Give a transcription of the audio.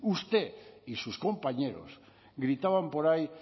usted y sus compañeros gritaban por ahí